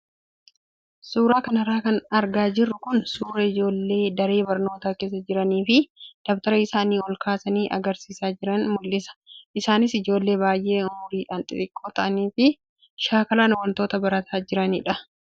Suuraa kanarra kan argaa jirru kun suuraa ijoollee daree barnootaa keessa jiranii fi dabtara isaanii ol kaasanii agarsiisaa jiran mul'isa. Isaanis ijoollee baay'ee umriidhaan xixiqqoo ta'anii fi shaakalaan wantoota barataa jiranidha.